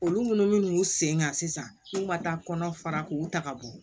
Olu minnu y'u sen ka sisan n'u ma taa kɔnɔ fara k'u ta ka bɔ